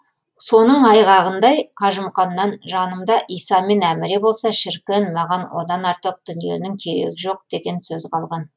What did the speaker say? соның айғағындай қажымұқаннан жанымда иса мен әміре болса шіркін маған одан артық дүниенің керегі жоқ деген сөз қалған